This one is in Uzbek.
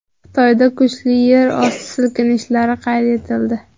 Xitoyda kuchli yer osti silkinishlari qayd etildi.